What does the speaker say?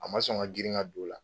A ma sɔn ka girin ka don o la